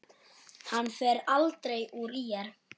Hann fer aldrei úr ÍR.